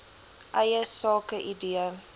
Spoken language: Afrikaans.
eie sake idee